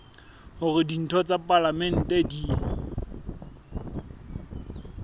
hore ditho tsa palamente di